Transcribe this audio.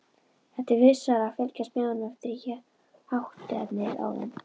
Það er vissara að fylgjast með honum eftir hátternið áðan.